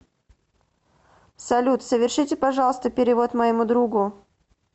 салют совершите пожалуйста перевод моему другу